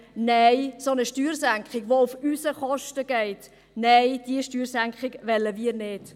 Nein, eine solche Steuersenkung, die auf unsere Kosten geht, wollen wir nicht.